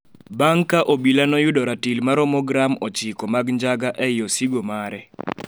bang' ka obila noyudo ratil maromo gram ochiko mag njaga ei osigo mare